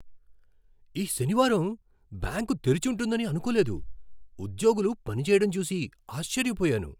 ఈ శనివారం బ్యాంకు తెరిచుంటుందని అనుకోలేదు, ఉద్యోగులు పనిచేయడం చూసి ఆశ్చర్యపోయాను.